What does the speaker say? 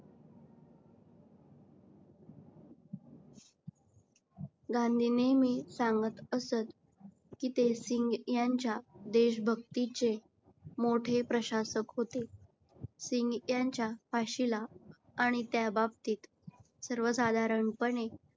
गांधी नेहमी सांगत असत की ते सिंग यांच्या देशभक्तीचे मोठे प्रशासक होते. सिंग यांच्या फाशीला आणि त्या बाबतीत सर्व साधारणपणे